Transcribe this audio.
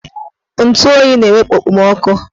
Ntụ oyi na-ewepu okpomoọkụ